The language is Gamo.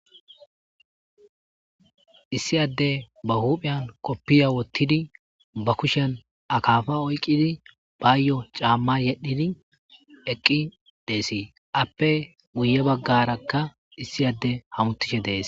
Issi adde ba hupiyan qoobe wotidi ba kushiyan akafa oyiqqidi bayo cama yedhdhidi eqqi dees.appe guye baggaraka issi adde ahamatishe des.